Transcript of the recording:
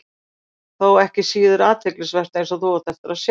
Þó ekki síður athyglisvert, eins og þú átt eftir að sjá.